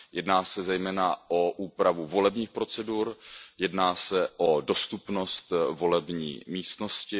Jedná se zejména o úpravu volebních procedur, jedná se o dostupnost volební místnosti.